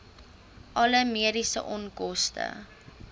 alle mediese onkoste